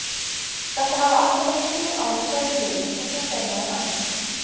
Þetta hafa alltaf verið þrjú ár í hverju liði og svo fer maður annað.